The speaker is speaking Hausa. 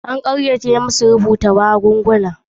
An kayyade masu harhada magunguna akan rubuta magunguna.